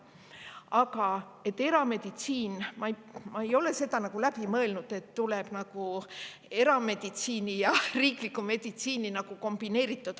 Aga ma ei ole seda läbi mõelnud, et tuleb haigla, kus erameditsiin ja riiklik meditsiin on kombineeritud.